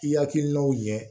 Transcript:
I hakilinaw ɲɛ